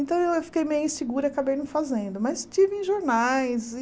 Então eu fiquei meio insegura e acabei não fazendo, mas estive em jornais e